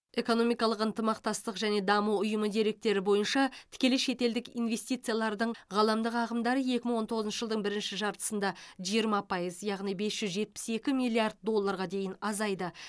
экономикалық ынтымақтастық және даму ұйымы деректері бойынша тікелей шетелдік инвестициялардың ғаламдық ағымдары екі мың он тоғызыншы жылдың бірінші жартысында жиырма пайыз яғни бес жүз жетпіс екі миллиард долларға дейін азайды